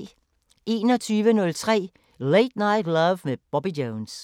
21:03: Late Night Love med Bobby Jones